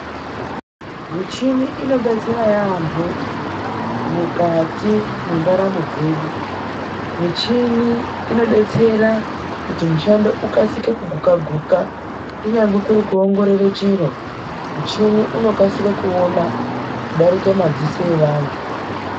MICHINI INOBETSERA YAAMHO MUKATI MENDARAMO DZEDU. MICHINI INOBETSERA KUTI MISHANDO IKASIRE ,KUGUKA- GUKA KUNYANGWE KURI KUONGORORA CHIRO, MUCHINI UNOKASIRE KUONA KUDARIKE MADZISO EVANTU.